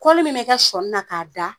min be kɛ sɔɔni na k'a da